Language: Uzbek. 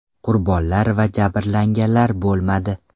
Qurbonlar va jabrlanganlar bo‘lmadi.